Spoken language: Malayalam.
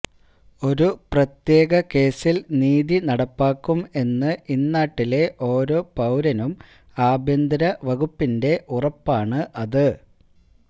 ഒരു പ്രത്യേക കേസിൽ നീതി നടപ്പാക്കും എന്ന് ഇന്നാട്ടിലെ ഓരോ പൌരനും ആഭ്യന്തര വകുപ്പിന്റെ ഉറപ്പാണ് അത്